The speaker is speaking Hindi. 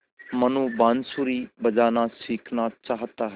मनु बाँसुरी बजाना सीखना चाहता है